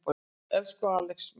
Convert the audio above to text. Elsku Axel minn.